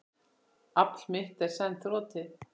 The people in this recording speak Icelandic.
Afl mitt er senn þrotið.